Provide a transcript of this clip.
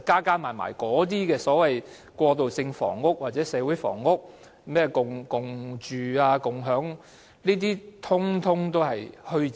這些所謂過渡房屋或社會房屋，甚或共住共享等，其實全是虛招。